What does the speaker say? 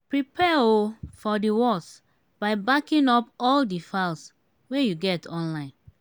prepare um for di worse by backing up all di files wey you get online